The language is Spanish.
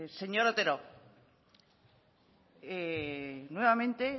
señor otero nuevamente